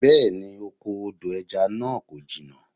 Bẹ́̀ẹ ni, oko odo ẹja náà kò jìnnà.